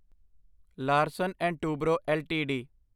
Larsen and Toubro LTD